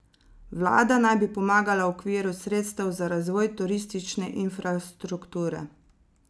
Vlada naj bi pomagala v okviru sredstev za razvoj turistične infrastrukture.